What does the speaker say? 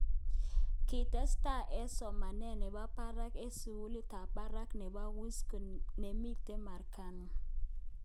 Kitestai eng somanet nebo barak eng sukulit ab barak nebo Wisconsin, nemiten Merwkani.